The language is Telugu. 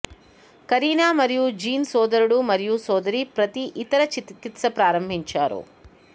కరీనా మరియు జీన్ సోదరుడు మరియు సోదరి ప్రతి ఇతర చికిత్స ప్రారంభించారు